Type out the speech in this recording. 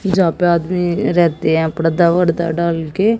जहां पे आदमी रहते हैं पर्दा वरदा डाल के--